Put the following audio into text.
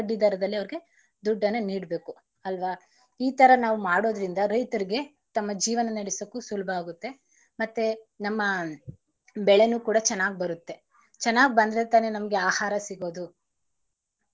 ಬಡ್ಡಿ ದರದಲಿ ಅವರಿಗೆ, ದುಡ್ಡನ್ನ ನೀಡಬೇಕು ಅಲ್ವಾ. ಈ ತರ ನಾವು ಮಾಡೋದರಿಂದ ರೈತರಿಗೆ ತಮ್ಮ ಜೀವನ ನಡೆಸೋಕು ಸುಲುಭ ಆಗುತ್ತೆ ಮತ್ತೆ ನಮ್ಮ ಬೆಳೆನು ಕೂಡ ಚೆನ್ನಾಗ್ ಬರುತ್ತೆ. ಚೆನ್ನಾಗ್ ಬಂದ್ರೆ ತಾನೇ ನಮ್ಗೆ ಆಹಾರ ಸಿಗೋದು.